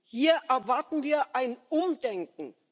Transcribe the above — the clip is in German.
Hier erwarten wir ein Umdenken!